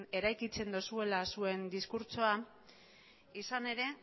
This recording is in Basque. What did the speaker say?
eraikitzen dozuela zuen diskurtsoa izan ere